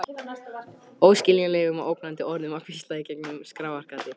Óskiljanlegum og ógnandi orðum var hvíslað í gegnum skráargati.